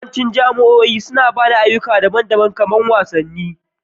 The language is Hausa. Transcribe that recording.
Yawancin jami'o'i suna ba da ayyuka daban-daban na kari kamar wasanni